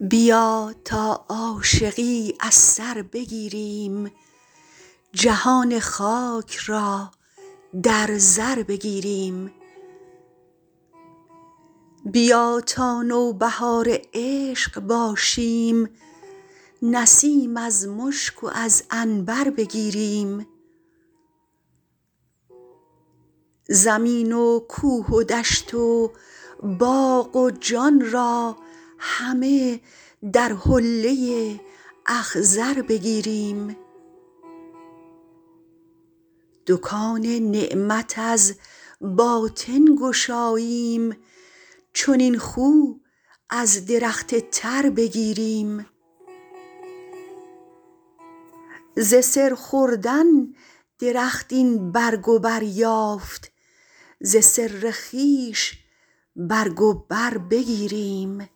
بیا تا عاشقی از سر بگیریم جهان خاک را در زر بگیریم بیا تا نوبهار عشق باشیم نسیم از مشک و از عنبر بگیریم زمین و کوه و دشت و باغ و جان را همه در حله اخضر بگیریم دکان نعمت از باطن گشاییم چنین خو از درخت تر بگیریم ز سر خوردن درخت این برگ و بر یافت ز سر خویش برگ و بر بگیریم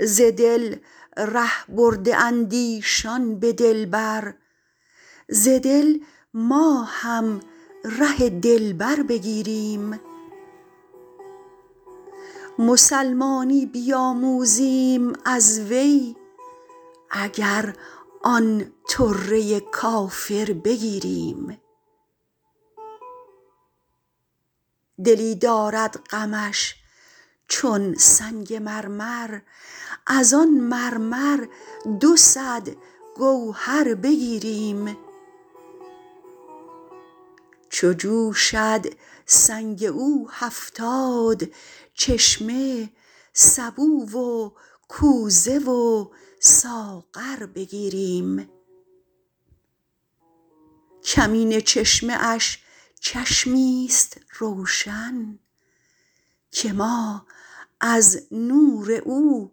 ز دل ره برده اند ایشان به دلبر ز دل ما هم ره دلبر بگیریم مسلمانی بیاموزیم از وی اگر آن طره کافر بگیریم دلی دارد غمش چون سنگ مرمر از آن مرمر دو صد گوهر بگیریم چو جوشد سنگ او هفتاد چشمه سبو و کوزه و ساغر بگیریم کمینه چشمه اش چشمی است روشن که ما از نور او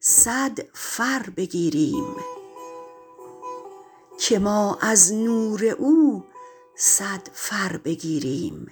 صد فر بگیریم